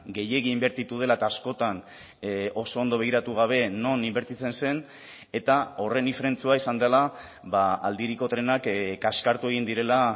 gehiegi inbertitu dela eta askotan oso ondo begiratu gabe non inbertitzen zen eta horren ifrentzua izan dela aldiriko trenak kaskartu egin direla